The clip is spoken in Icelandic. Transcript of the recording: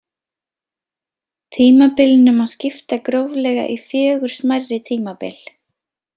Tímabilinu má skipta gróflega í fjögur smærri tímabil.